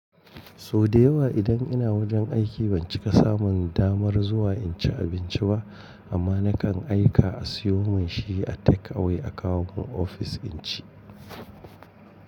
Sau da yawa idan ina wajen aiki ban cika samun damar zuwa in ci abinci ba amma nakan aika a siyo mun shi a take away a kawo mun ofis in ci.